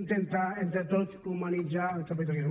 intentar entre tots humanitzar el capitalisme